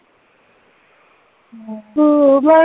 ਹਮ